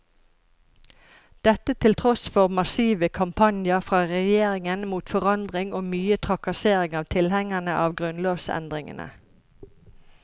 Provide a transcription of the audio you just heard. Dette til tross for massive kampanjer fra regjeringen mot forandring og mye trakassering av tilhengerne av grunnlovsendringene.